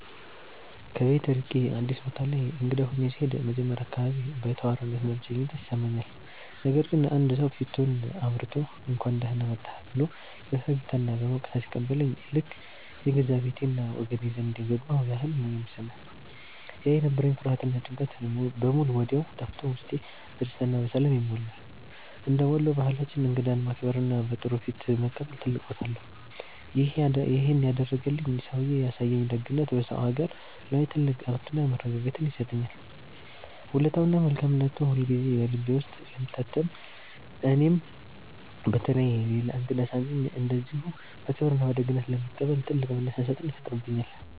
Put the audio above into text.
ከቤት ርቄ አዲስ ቦታ ላይ እንግዳ ሆኜ ስሄድ መጀመሪያ አካባቢ ባይተዋርነትና ብቸኝነት ይሰማኛል። ነገር ግን አንድ ሰው ፊቱን አብርቶ፣ «እንኳን ደህና መጣህ» ብሎ በፈገግታና በሞቅታ ሲቀበለኝ ልክ የገዛ ቤቴና ወገኔ ዘንድ የገባሁ ያህል ነው የሚሰማኝ። ያ የነበረኝ ፍርሃትና ጭንቀት በሙሉ ወዲያው ጠፍቶ ውስጤ በደስታና በሰላም ይሞላል። እንደ ወሎ ባህላችን እንግዳን ማክበርና በጥሩ ፊት መቀበል ትልቅ ቦታ አለው። ይሄን ያደረገልኝ ሰውዬ ያሳየኝ ደግነት በሰው አገር ላይ ትልቅ እረፍትና መረጋጋትን ይሰጠኛል። ውለታውና መልካምነቱ ሁልጊዜ በልቤ ውስጥ ስለሚታተም እኔም በተራዬ ሌላ እንግዳ ሳገኝ እንደዚሁ በክብርና በደግነት ለመቀበል ትልቅ መነሳሳትን ይፈጥርብኛል።